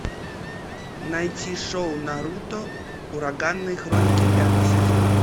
найти шоу наруто ураганные хроники пятый сезон